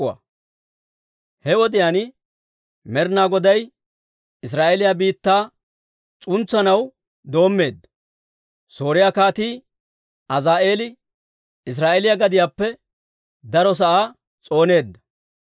He wodiyaan Med'ina Goday Israa'eeliyaa biittaa s'untsanaw doommeedda. Sooriyaa Kaatii Azaa'eeli Israa'eeliyaa gadiyaappe daro sa'aa s'ooneedda.